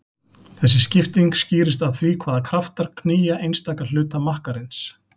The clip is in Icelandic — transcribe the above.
Þessi skipting skýrist af því hvaða kraftar knýja einstaka hluta makkarins.